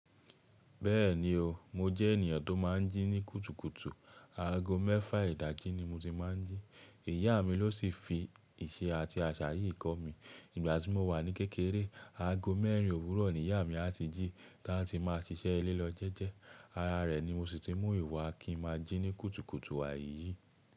Bẹ́ẹ̀ni o, mo jẹ́ ènìyàn tó máa ń jí ní kùtùkùtù. Ago mẹ́fà ìdají ni mo ti máa ń jí. Ìyá mi ló sì fi ìṣe àti àṣà yìí kọ́ mi. Nígbà tí mo wà ní kékeré, ago mẹ́rin òwúrọ̀ ni ìyá mi a ti jí tá a ti máa ṣiṣẹ́ ilẹ lo jẹ́jẹ́. Ara rẹ̀ ni mo sì ti mú ìwà kí n máa jí ní kùtùkùtù wa yìí.